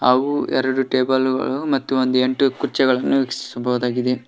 ಹಾಗು ಎರಡು ಟೇಬಲ್ ಗಳು ಮತ್ತ ಒಂದ ಎಂಟು ಕುರ್ಚಿಗಳನ್ನು ವೀಕ್ಷಿಸಬಹುದಾಗಿದೆ.